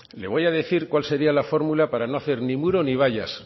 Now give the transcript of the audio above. le voy a decir cuál sería la fórmula de no hacer muro ni vallas